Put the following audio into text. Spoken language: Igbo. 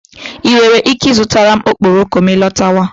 I nwere ike ịzụtara m okporoko ma ị lọtawa.